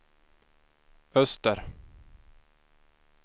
öster